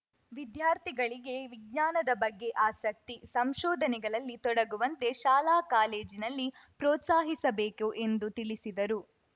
ವಿದ್ಯಾರ್ಥಿಗಳಿಗೆ ವಿಜ್ಞಾನದ ಬಗ್ಗೆ ಆಸಕ್ತಿ ಸಂಶೋಧನೆಗಳಲ್ಲಿ ತೊಡಗುವಂತೆ ಶಾಲಾಕಾಲೇಜಿನಲ್ಲಿ ಪ್ರೋತ್ಸಾಹಿಸಬೇಕು ಎಂದು ತಿಳಿಸಿದರು